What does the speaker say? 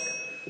Üks hetk.